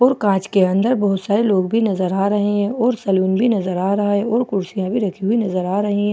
और कांच के अंदर बहुत सारे लोग भी नजर आ रहे है और सैलून भी नजर आ रहा है और कुर्सियां भी रखी हुई नजर आ रहीं--